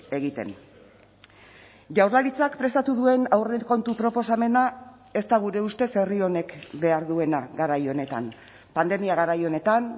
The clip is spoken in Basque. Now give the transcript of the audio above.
egiten jaurlaritzak prestatu duen aurrekontu proposamena ez da gure ustez herri honek behar duena garai honetan pandemia garai honetan